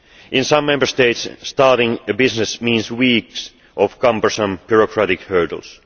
In some Member States, starting a business means weeks of cumbersome bureaucratic hurdles.